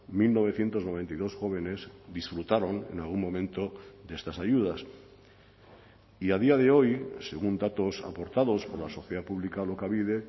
mil novecientos noventa y dos jóvenes disfrutaron en algún momento de estas ayudas y a día de hoy según datos aportados por la sociedad pública alokabide